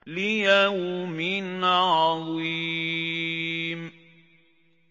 لِيَوْمٍ عَظِيمٍ